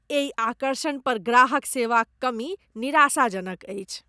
एहि आकर्षण पर ग्राहक सेवाक कमी निराशाजनक अछि।